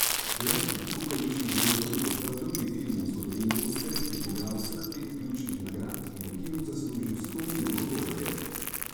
Let nad kukavičjim gnezdom je postal drugi film v zgodovini oskarjev, ki je pobral vseh pet ključnih nagrad in v kinu zaslužil sto milijonov dolarjev.